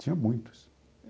Tinha muitos.